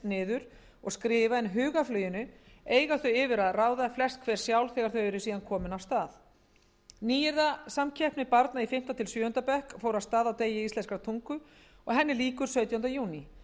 niður og skrifa en hugarfluginu eiga þau yfir að ráða flest hver sjálf þegar þau eru komin af stað nýyrðasamkeppni barna í fimmta til sjöunda bekk fór af stað á degi íslenskrar tungu og lýkur sautjánda júní